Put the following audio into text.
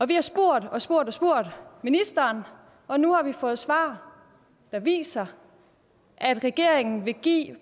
vi har spurgt og spurgt ministeren og nu har vi fået svar der viser at regeringen vil give